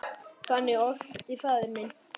Þannig orti faðir minn.